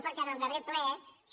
perquè en el darrer ple això